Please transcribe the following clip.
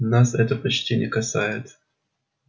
нас это почти не касается